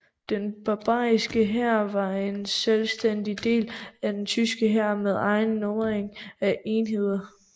Den bayerske hær var en selvstændig del af den tyske hær med egen nummerering af enheder